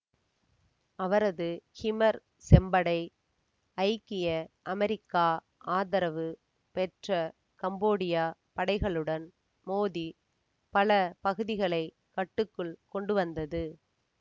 அவரது கிமர் செம்படை ஐக்கிய அமெரிக்கா ஆதரவு பெற்ற கம்போடிய படைகளுடன் மோதி பல பகுதிகளை கட்டுக்குள் கொண்டுவந்தது